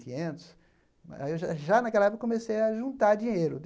Quinhentos aí eu já já naquela época eu comecei a juntar dinheiro.